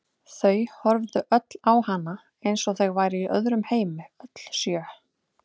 Þau horfðu öll á hana eins og þau væru í öðrum heimi, öll sjö.